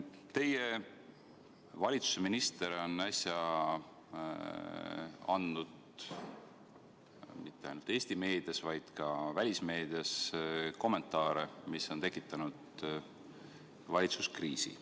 Teie valitsuse minister on äsja andnud mitte ainult Eesti meedias, vaid ka välismeedias kommentaare, mis on tekitanud valitsuskriisi.